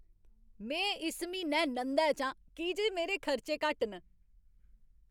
में इस म्हीनै नंदै च आं की जे मेरे खर्चे घट्ट न।